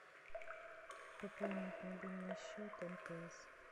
пополнить мобильный счет мтс